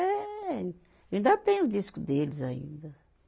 Eh, ainda tenho o disco deles ainda.